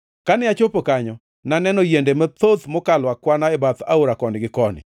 Kane achopo kanyo, naneno yiende mathoth mokalo akwana e bath aora koni gi koni.